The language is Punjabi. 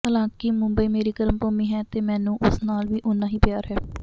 ਹਾਲਾਂਕਿ ਮੁੰਬਈ ਮੇਰੀ ਕਰਮ ਭੂਮੀ ਹੈ ਤੇ ਮੈਨੂੰ ਉਸ ਨਾਲ ਵੀ ਓਨਾ ਹੀ ਪਿਆਰ ਹੈ